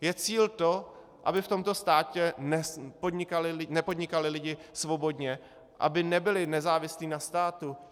Je cíl to, aby v tomto státě nepodnikali lidé svobodně, aby nebyli nezávislí na státu?